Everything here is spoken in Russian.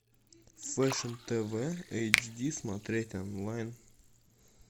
фэшн тв эйчди смотреть онлайн